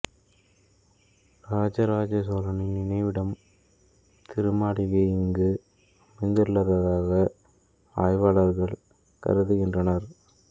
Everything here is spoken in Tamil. இராஜராஜ சோழனின் நினைவிடம் திருமாளிகை இங்கு அமைந்துள்ளதாக ஆய்வாளர்கள் கருதுகின்றனர்